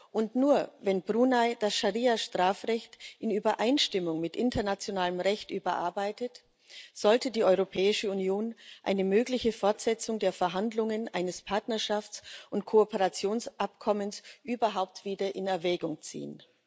Und nur, wenn Brunei das Scharia Strafrecht in Übereinstimmung mit internationalem Recht überarbeitet, sollte die Europäische Union eine mögliche Fortsetzung der Verhandlungen über ein Partnerschafts und Kooperationsabkommen überhaupt wieder in Erwägung ziehen.